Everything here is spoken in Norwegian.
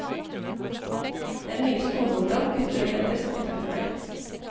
Det er mye skoleungdom, gutter og jenter, som kontakter meg.